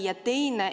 Ja teine.